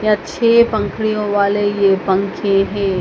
अच्छे पंखुड़ियां वाले ये पंखे हैं।